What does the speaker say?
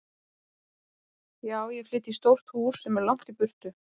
Já, ég flyt í stórt hús sem er langt í burtu.